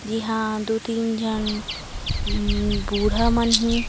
जी ह दू तीन झन अम्म्म बूढ़ा मन हे।